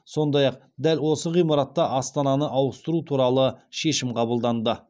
сондай ақ дәл осы ғимаратта астананы ауыстыру туралы шешім қабылданды